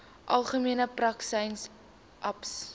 algemene praktisyns aps